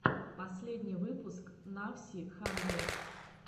последний выпуск навси хандрэд